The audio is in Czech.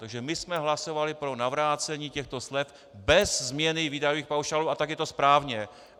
Takže my jsme hlasovali pro navrácení těchto slev bez změny výdajových paušálů a tak je to správně.